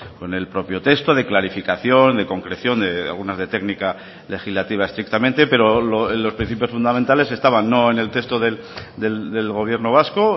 con el propio texto de clarificación de concreción algunas de técnica legislativa estrictamente pero los principios fundamentales estaban no en el texto del gobierno vasco